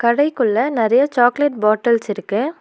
கடைக்குள்ள நெறைய chocolate bottles இருக்கு.